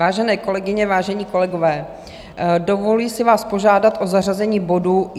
Vážené kolegyně, vážení kolegové, dovoluji si vás požádat o zařazení bodu